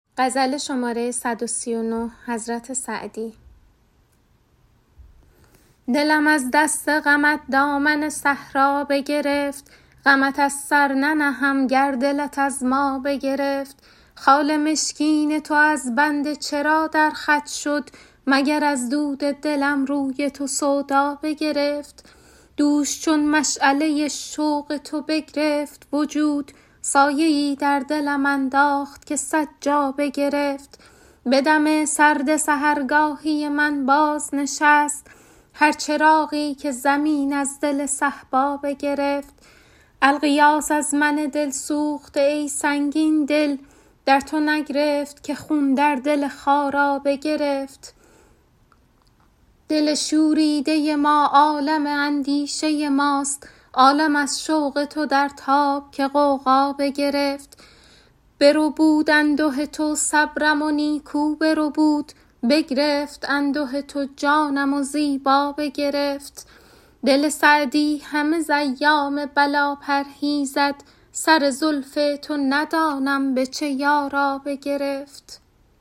دلم از دست غمت دامن صحرا بگرفت غمت از سر ننهم گر دلت از ما بگرفت خال مشکین تو از بنده چرا در خط شد مگر از دود دلم روی تو سودا بگرفت دوش چون مشعله شوق تو بگرفت وجود سایه ای در دلم انداخت که صد جا بگرفت به دم سرد سحرگاهی من بازنشست هر چراغی که زمین از دل صهبا بگرفت الغیاث از من دل سوخته ای سنگین دل در تو نگرفت که خون در دل خارا بگرفت دل شوریده ما عالم اندیشه ماست عالم از شوق تو در تاب که غوغا بگرفت بربود انده تو صبرم و نیکو بربود بگرفت انده تو جانم و زیبا بگرفت دل سعدی همه ز ایام بلا پرهیزد سر زلف تو ندانم به چه یارا بگرفت